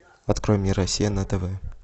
открой мне россия на тв